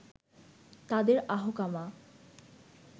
তাদের আহকামা